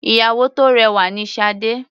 Ìyàwó tó rẹwà ni Sade.